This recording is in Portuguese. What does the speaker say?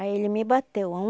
Aí ele me bateu.